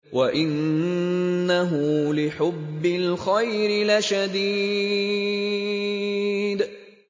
وَإِنَّهُ لِحُبِّ الْخَيْرِ لَشَدِيدٌ